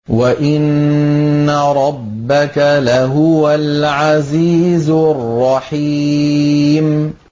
وَإِنَّ رَبَّكَ لَهُوَ الْعَزِيزُ الرَّحِيمُ